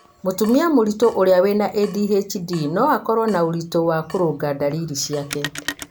mũtumia mũritũ ũrĩa wĩna ADHD no akorwo na ũritũ wa kũrũnga ndariri ciake